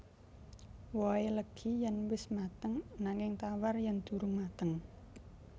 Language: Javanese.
Wohé legi yèn wis mateng nanging tawar yèn durung mateng